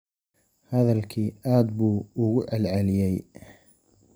Hadalkii aad buu ugu celceliyey